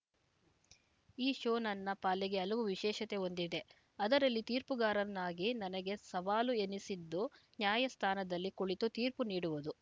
ಈ ಶೋ ನನ್ನ ಪಾಲಿಗೆ ಹಲವು ವಿಶೇಷತೆ ಹೊಂದಿದೆ ಅದರಲ್ಲಿ ತೀರ್ಪುಗಾರನ್ನಾಗಿ ನನಗೆ ಸವಾಲು ಎನಿಸಿದ್ದು ನ್ಯಾಯ ಸ್ಥಾನದಲ್ಲಿ ಕುಳಿತು ತೀರ್ಪು ನೀಡುವುದು